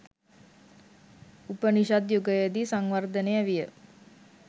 උපනිෂද් යුගයේදී සංවර්ධනය විය.